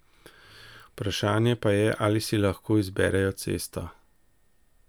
Vprašanje pa je, ali si lahko izberejo cesto.